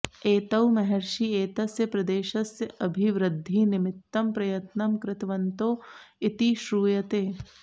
एतौ महर्षी एतस्य प्रदेशस्य अभिवृध्दिनिमित्तं प्रयत्नं कृतवन्तौ इति श्रूयते